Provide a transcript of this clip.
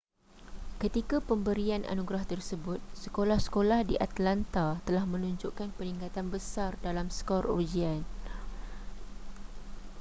ketika pemberian anugerah tersebut sekolah-sekolah di atlanta telah menunjukkan peningkatan besar dalam skor ujian